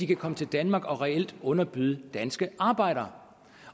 kan komme til danmark og reelt underbyde danske arbejdere